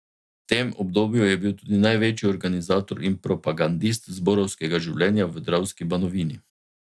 V tem obdobju je bil tudi največji organizator in propagandist zborovskega življenja v Dravski banovini.